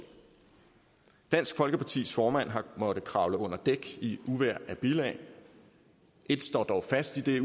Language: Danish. dansk folkepartis formand har måttet kravle under dæk i et uvejr af bilag et står dog fast i det